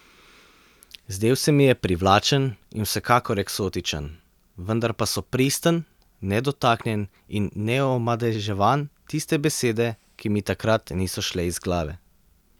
Zdel se mi je privlačen in vsekakor eksotičen, vendar pa so pristen, nedotaknjen in neomadeževan tiste besede, ki mi takrat niso šle iz glave.